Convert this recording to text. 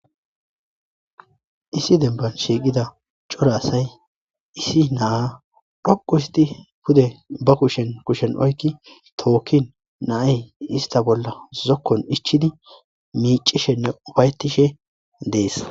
issi demban shiiqida cora asay issi naa dhoqu histi pude ba kushen kushshen oykki tookkin naay ista bolla zokkon ichchidi miicishenne ufayetishe dees